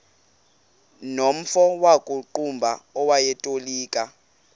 nomfo wakuqumbu owayetolika